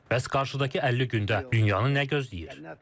Bəs qarşıdakı 50 gündə dünyanın nə gözləyir?